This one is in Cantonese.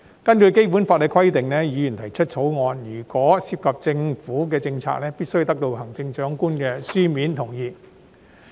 根據《基本法》的規定，議員提出私人條例草案，如果涉及政府政策，必須得到行政長官的書面同意。